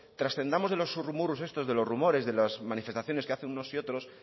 trascendamos de los zurrumurrus estos de los rumores de las manifestaciones que hacen unos y otros